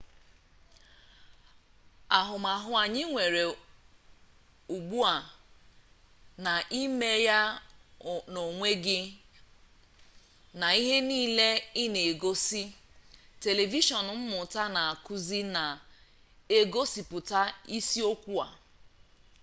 ahụmahụ anyị nwere ugbu a na 'ime-ya-n'onwe gị' na ihe niile ị na-egosi telivishọn mmụta na-akụzi na-egosipụta isi okwu a